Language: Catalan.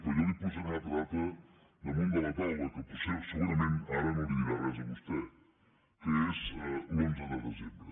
però jo li posaré una altra data damunt de la taula que potser segurament ara no li dirà res a vostè que és l’onze de desembre